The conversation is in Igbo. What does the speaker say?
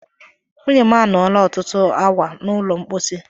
Nwunye m anọọla ọtụtụ awa n'ụlọ mposi.